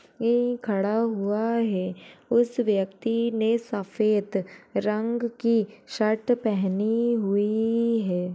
ये खड़ा हुआ है। उस व्यक्ति ने सफेद रंग की शर्ट पहनी हुई है।